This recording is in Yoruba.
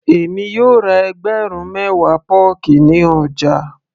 èmi yóò ra ẹgbẹ̀rún mewa pọ́ọ̀kì ní ọjà